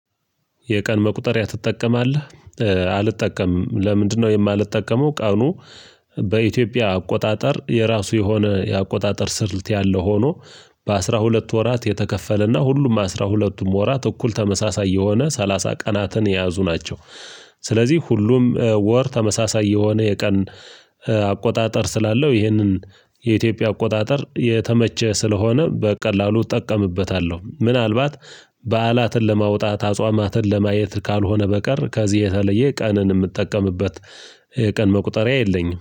የቀን መቁጠሪያ ትጠቀማለህ? አልጠቀምም ለምንድነው የማልጠቀመው ቀኑ በኢትዮጵያ አቆጣጠር የራሱ የሆነ የአቆጣጠር ስልት ያለው ሆኖ በአሥራ ሁለት ወራት የተከፈለና ሁሉም አስራ ሁለቱም ወራት እኩል ተመሳሳይ የሆነ ሰላሳ ቀናትን የያዙ ናቸው። ስለዚህ ሁሉም ወር ተመሳሳይ የሆነ የቀን አቆጣጠር ስላለው ይህንን የኢትዮጵያ አቆጣጠር የተመቸ ስለሆነ በቀላሉ እጠቀምበታለሁ። ምናልባት በዓላትን ለማውጣት አጽዋማትን ለማየት ካልሆነ በቀር ከዚህ የተለየ ቀንን የምትጠቀምበት የቀን መቁጠሪያ የለኝም።